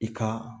I ka